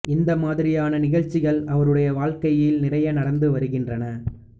இந்த மாதிரியான நிகழ்ச்சிகள் அவருடைய வாழ்க்கையில் நிறைய நடந்து வருகின்றன